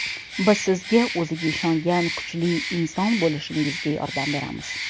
Biz sizga o‘ziga ishongan kuchli inson bo‘lishingizga yordam beramiz!